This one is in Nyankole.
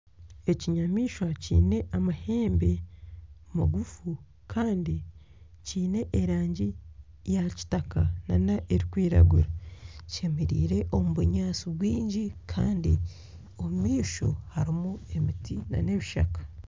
Ekinyamaishwa kyiine amahembe maguufu kandi kyiine erangi ya kitaka nana erikwiragura kyemereire omu bunyaatsi bwingi kandi omumaisho harimu emiti na n'ebishaka.